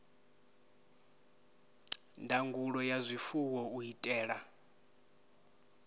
ndangulo ya zwifuwo u itela